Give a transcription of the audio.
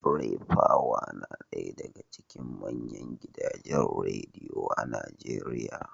Raypower na daya daga cikin manyan gidajen Rediyo a Najeriya